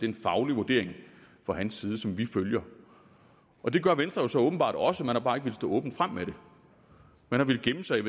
en faglig vurdering fra hans side som vi følger og det gør venstre jo så åbenbart også man har bare ikke villet stå åbent frem med det man har villet gemme sig